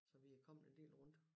Så vi er kommet en del rundt